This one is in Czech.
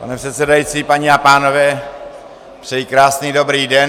Pane předsedající, paní a pánové, přeji krásný dobrý den.